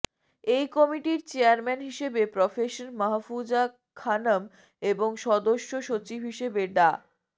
এই কমিটির চেয়ারম্যান হিসেবে প্রফেসর মাহফুজা খানম এবং সদস্য সচিব হিসেবে ডা